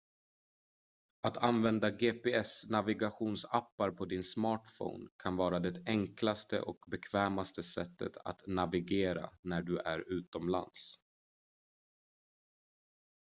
att använda gps-navigationsappar på din smartphone kan vara det enklaste och bekvämaste sättet att navigera när du är utomlands